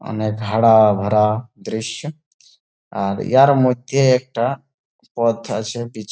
অনেক হারা ভরা দৃশ্য আর ইহার মধ্যে একটা পথ আছে পিছ --